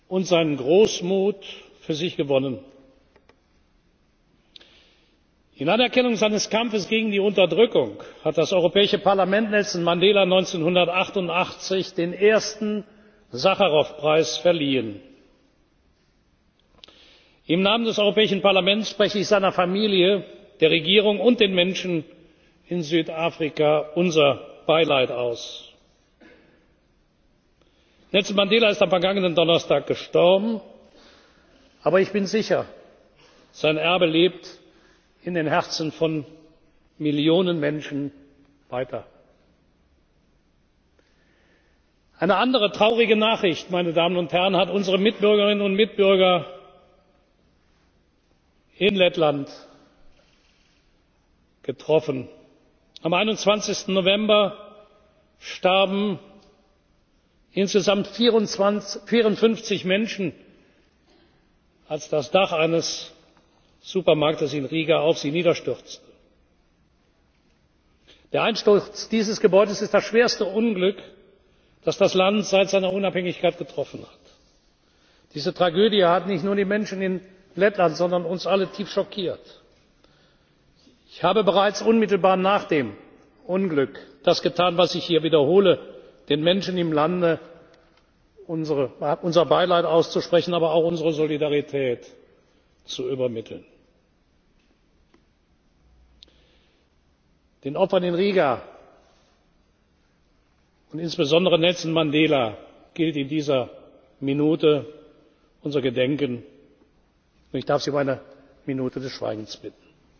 und seine Großmut für sich gewonnen. In Anerkennung seines Kampfes gegen die Unterdrückung hat das Europäische Parlament Nelson Mandela 1988 den ersten Sacharow Preis verliehen. Im Namen des Europäischen Parlaments spreche ich seiner Familie, der Regierung und den Menschen in Südafrika unser Beileid aus. Nelson Mandela ist am vergangenen Donnerstag gestorben. Aber ich bin sicher, sein Erbe lebt in den Herzen von Millionen Menschen weiter. Eine andere traurige Nachricht, meine Damen und Herren, hat unsere Mitbürgerinnen und Mitbürger in Lettland getroffen. Am 21. November starben insgesamt 54 Menschen, als das Dach eines Supermarktes in Riga auf sie niederstürzte. Der Einsturz dieses Gebäudes ist das schwerste Unglück, das das Land seit seiner Unabhängigkeit getroffen hat. Diese Tragödie hat nicht nur die Menschen in Lettland, sondern uns alle tief schockiert. Ich habe bereits unmittelbar nach dem Unglück das getan, was ich hier wiederhole den Menschen im Lande unser Beileid auszusprechen, aber auch unsere Solidarität zu übermitteln. Den Opfern in Riga und insbesondere Nelson Mandela gilt in dieser Minute unser Gedenken. Ich darf Sie um eine Minute